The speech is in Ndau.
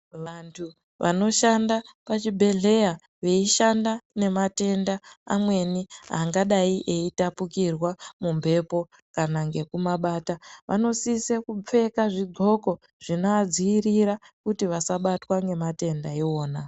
Vantu vanoshanda pachibhehleya veishanda nematenda amweni angadai eitapukirwa mumhepo kana ngekumabata vanosisa kupfeka zvigoko zvinovadzivirira kuti vasabatwa ngematenda iwona.